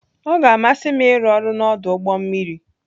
Ọ ga-amasị m ịrụ ọrụ n'ọdụ ụgbọ mmiri.